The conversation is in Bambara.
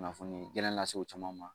Kunnafoni gɛlɛn lase u caman ma